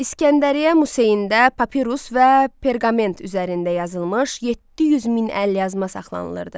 İsgəndəriyyə Museyində papirus və perqament üzərində yazılmış 700 min əlyazma saxlanılırdı.